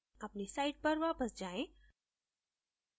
अपनी site पर वापस जायें